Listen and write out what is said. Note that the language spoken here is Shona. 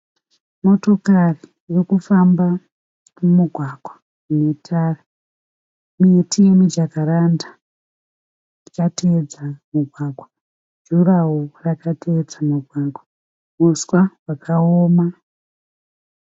Motokari iri kufamba mumugwagwa une tara. Miti yemijakaranda yakatevedza mugwagwa. Jurahwo rakatevedza mugwagwa. Uswa hwakawoma.